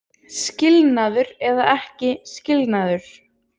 Skilnaður eða ekki skilnaður